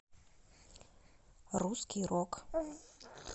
русский рок